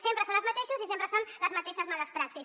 sempre són els mateixos i sempre són les mateixes males praxis